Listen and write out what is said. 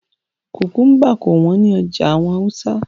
Kukumba kò wọ́n ní ọjà àwọn Hausa